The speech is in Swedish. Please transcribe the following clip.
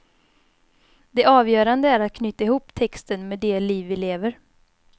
Det avgörande är att knyta ihop texten med det liv vi lever.